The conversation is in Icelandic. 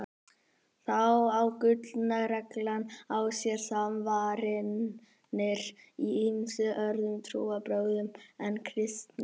Þá á gullna reglan á sér samsvaranir í ýmsum öðrum trúarbrögðum en kristni.